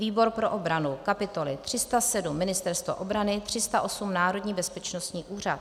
výbor pro obranu kapitoly 307 - Ministerstvo obrany, 308 - Národní bezpečnostní úřad;